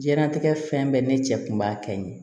Diɲɛlatigɛ fɛn bɛɛ ne cɛ kun b'a kɛ ye